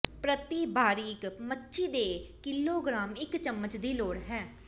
ਪ੍ਰਤੀ ਬਾਰੀਕ ਮੱਛੀ ਦੇ ਕਿਲੋਗ੍ਰਾਮ ਇੱਕ ਚਮਚ ਦੀ ਲੋੜ ਹੈ